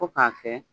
Fo k'a kɛ